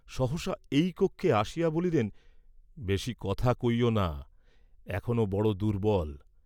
সহসা এই কক্ষে আসিয়া বলিলেন বেশী কথা কইও না, এখনো বড় দুর্ব্বল।